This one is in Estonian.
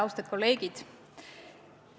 Austatud kolleegid!